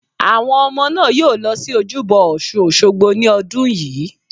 Àwọn ọmọ náà yóò lọ sí Ojúbọ ọ̀sun Òsogbo ní ọdún yìí